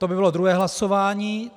To by bylo druhé hlasování.